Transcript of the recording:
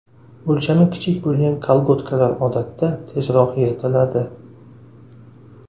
O‘lchami kichik bo‘lgan kolgotkalar odatda tezroq yirtiladi.